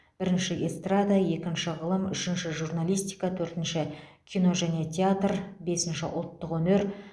бірінші эстрада екінші ғылым үшінші журналистика төртінші кино және театр бесінші ұлттық өнер